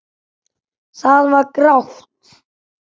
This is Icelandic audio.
Það var grátt.